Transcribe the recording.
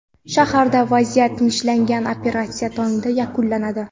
Shaharda vaziyat tinchlangan, operatsiya tongda yakunlanadi.